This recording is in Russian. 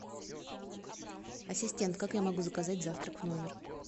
ассистент как я могу заказать завтрак в номер